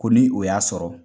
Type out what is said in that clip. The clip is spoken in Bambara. Ko ni o y'a sɔrɔ